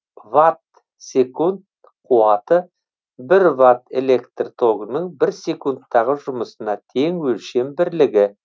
ватт секунд қуаты бір ват электр тогының бір секундтағы жұмысына тең өлшем бірлігі